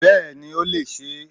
Bẹ́ẹ̀ni i ó lè se e